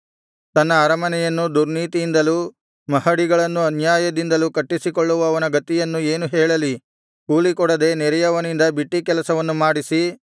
ತನ್ನ ಅರಮನೆಯನ್ನು ದುರ್ನೀತಿಯಿಂದಲೂ ಮಹಡಿಗಳನ್ನು ಅನ್ಯಾಯದಿಂದಲೂ ಕಟ್ಟಿಸಿಕೊಳ್ಳುವವನ ಗತಿಯನ್ನು ಏನು ಹೇಳಲಿ ಕೂಲಿಕೊಡದೆ ನೆರೆಯವನಿಂದ ಬಿಟ್ಟಿಕೆಲಸವನ್ನು ಮಾಡಿಸಿ